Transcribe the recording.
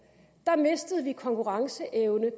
mistede vi konkurrenceevne